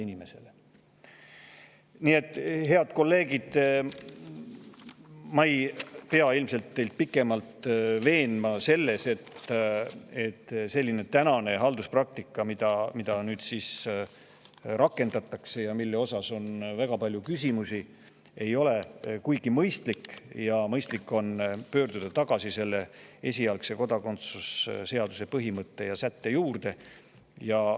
Nii et, head kolleegid, ma ei pea teid ilmselt pikemalt veenma selles, et tänane halduspraktika, mida rakendatakse ja mille kohta on väga palju küsimusi, ei ole kuigi mõistlik ning et mõistlik oleks pöörduda tagasi esialgse kodakondsuse seaduse põhimõtte ja sätte juurde.